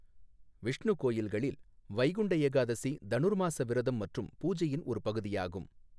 விஷ்ணு கோயில்களில் வைகுண்ட ஏகாதசி தனுர்மாஸ விரதம் மற்றும் பூஜையின் ஒரு பகுதியாகும்.